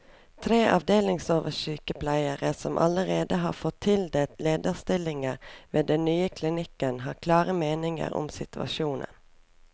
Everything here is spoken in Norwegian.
Tre avdelingsoversykepleiere, som allerede har fått tildelt lederstillinger ved den nye klinikken, har klare meninger om situasjonen.